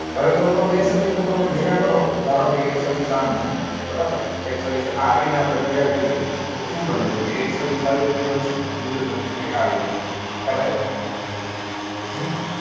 હવે કોઈ પણ બે સદીશો તમે ભેગા કરો. ધારો કે, એક સદીશ આમ છે બરાબર. એક સદીશ આ રીતે આપણે ભેગા કરીએ તો શું બને? તો કે એક સદીશ આવી રીતે બનશે. બીજો સદીશ કંઈક આવી રીતે બનશે. ખ્યાલ આવે? હમ